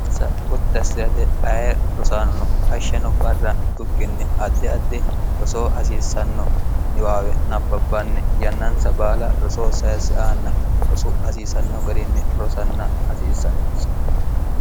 insa gotta assirate aye rosaano no hashshano barra yitukkinni addi addi rosoo hasiissanno niwaawe nabbabbanni yannansa baala rosoo sayirsi aanna rosu hasiisanno garinni rosanna hasiissannonsi